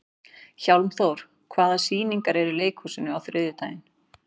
Hjálmþór, hvaða sýningar eru í leikhúsinu á þriðjudaginn?